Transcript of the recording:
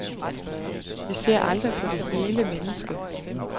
Vi ser aldrig på det hele menneske.